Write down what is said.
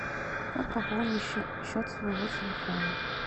как пополнить счет своего телефона